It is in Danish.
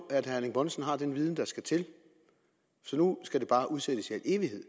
at herre erling bonnesen har den viden der skal til så nu skal det bare udsættes i al evighed